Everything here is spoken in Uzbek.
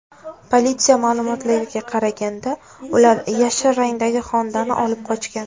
Politsiya ma’lumotlariga qaraganda, ular yashil rangdagi Honda’ni olib qochgan.